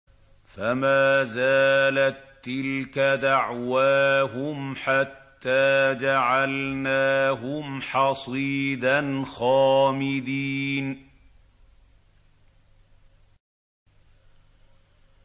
فَمَا زَالَت تِّلْكَ دَعْوَاهُمْ حَتَّىٰ جَعَلْنَاهُمْ حَصِيدًا خَامِدِينَ